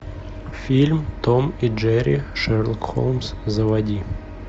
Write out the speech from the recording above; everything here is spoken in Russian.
фильм том и джерри шерлок холмс заводи